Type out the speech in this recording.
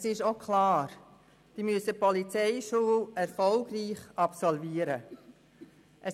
Es ist auch klar, dass diese die Polizeischule erfolgreich absolvieren müssen.